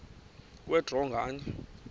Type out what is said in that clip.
kwe draw nganye